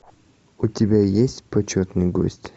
у тебя есть почетный гость